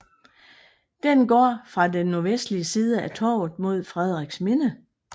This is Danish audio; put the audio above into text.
Den går fra den nordvestlige side af Torvet mod Frederiksminde